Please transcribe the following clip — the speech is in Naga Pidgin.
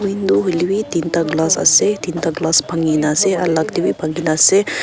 window hoilebi dinta glass ase dinta glass bhangi na ase alak de b bhangi na ase.